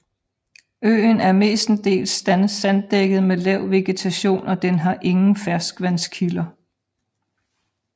Øen er mestendels sanddækket med lav vegetation og den har ingen ferskvandskilder